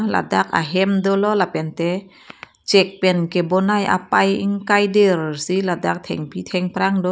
ladak ahem dolo lapente chek pen kebonai apai ingkai dirsi ladak thengpi thengprang do.